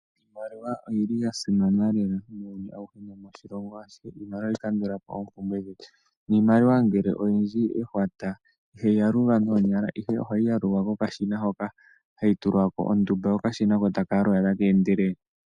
Iimaliwa oyi li ya simana lela muuyuni awuhe nomoshilongo ashihe. Iimaliwa oha yi kandula po oopumbwe dhetu. Niimaliwa ngele oyindji ehwata ihayi yalulwa noonyala ihe, oha yi yalulwa ko kashina hoka ha yi tulwa ko ontumba ko okashina taka yalula taka endelele.